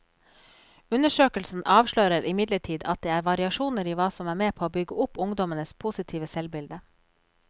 Undersøkelsen avslører imidlertid at det er variasjoner i hva som er med på å bygge opp ungdommenes positive selvbilde.